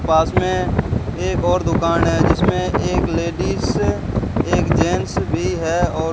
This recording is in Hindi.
पास में एक और दुकान है जिसमें एक लेडिस एक जेंट्स भी है और --